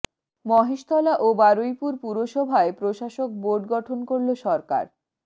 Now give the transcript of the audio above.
মহেশতলা ও বারুইপুর পুরসভায় প্রশাসক বোর্ড গঠন করল সরকার